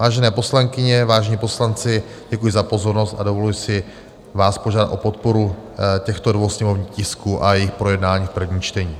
Vážené poslankyně, vážení poslanci, děkuji za pozornost a dovoluji si vás požádat o podporu těchto dvou sněmovních tisků a jejich projednání v prvním čtení.